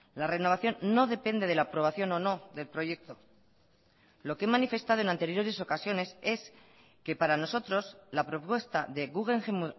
la renovación no depende de la aprobación o no del proyecto lo que he manifestado en anteriores ocasiones es que para nosotros la propuesta de guggenheim